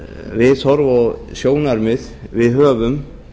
viðhorf og sjónarmið við höfum